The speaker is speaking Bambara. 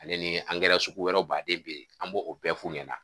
Ale nii angɛrɛ sugu wɛrɛw baden be ye, an b'o o bɛɛ f'u ɲɛna